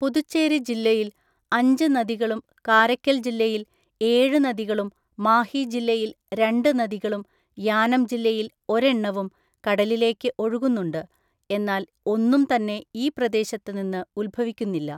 പുതുച്ചേരി ജില്ലയിൽ അഞ്ച് നദികളും കാരയ്ക്കൽ ജില്ലയിൽ ഏഴ് നദികളും മാഹി ജില്ലയിൽ രണ്ട് നദികളും യാനം ജില്ലയിൽ ഒരെണ്ണവും കടലിലേക്ക് ഒഴുകുന്നുണ്ട്, എന്നാൽ ഒന്നും തന്നെ ഈ പ്രദേശത്ത് നിന്ന് ഉത്ഭവിക്കുന്നില്ല.